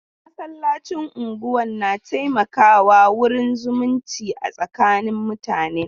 Masallacin unguwan na taimaka wa wurin zumunci a tsakanin mutanen.